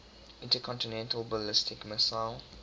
intercontinental ballistic missile